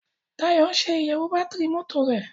Dayo ń ṣe iyewo Bátìrì mọ́tò rẹ.